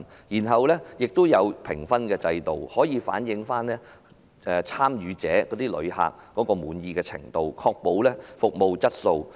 平台也設有評分制度，可以反映參與者的滿意程度，確保服務質素。